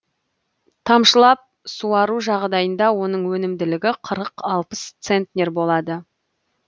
тамшылап суару жағдайында оның өнімділігі қырық алпыс центнер болады